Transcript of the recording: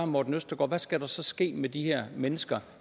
morten østergaard hvad skal der så ske med de her mennesker